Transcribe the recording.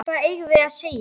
Hvað eigum við að segja?